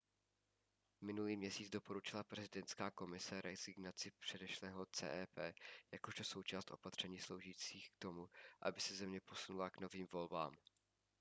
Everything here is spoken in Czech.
minulý měsíc doporučila prezidentská komise rezignaci předešlého cep jakožto součást opatření sloužících k tomu aby se země posunula k novým volbám